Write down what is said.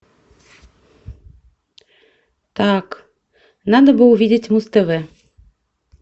так надо бы увидеть муз тв